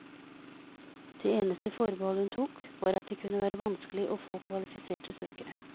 Det eneste forbehold hun tok, var at det kunne være vanskelig å få kvalifiserte søkere.